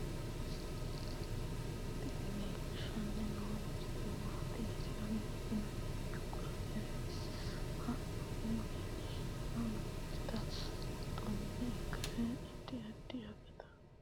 tini leeltanni noo misile maaati yiniro biifinse danchu kaamerinni haa'noonnita leellishshanni nonketi xuma ikkase addi addi akata amadaseeti yaate konnira biiffanno misileeti tini sidaamu balchoomi tilte leeltanni no